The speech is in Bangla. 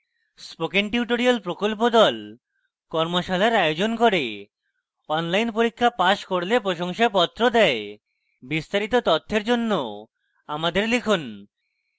spoken tutorial প্রকল্প the কর্মশালার আয়োজন করে অনলাইন পরীক্ষা পাস করলে প্রশংসাপত্র দেয় বিস্তারিত তথ্যের জন্য আমাদের লিখুন